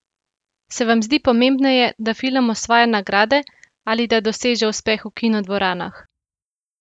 Se vam zdi pomembneje, da film osvaja nagrade ali da doseže uspeh v kinodvoranah?